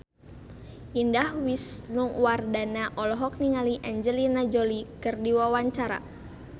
Indah Wisnuwardana olohok ningali Angelina Jolie keur diwawancara